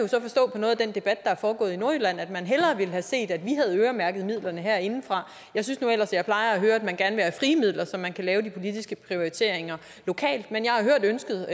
på noget af den debat der er foregået i nordjylland at man hellere ville have set at vi havde øremærket midlerne herindefra jeg synes nu ellers jeg plejer at høre at man gerne vil have frie midler så man kan lave de politiske prioriteringer lokalt men jeg har hørt ønsket